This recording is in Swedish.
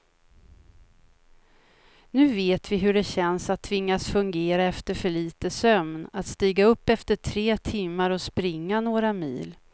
Nu vet vi hur det känns att tvingas fungera efter för lite sömn, att stiga upp efter tre timmar och springa några mil.